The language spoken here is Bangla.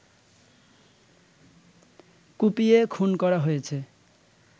কুপিয়ে খুন করা হয়েছে